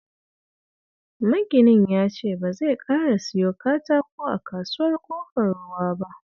Maginin ya ce ba zai ƙara siyo katako a Kasuwar Ƙofar Ruwa ba